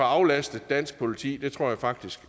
aflastet dansk politi det tror jeg faktisk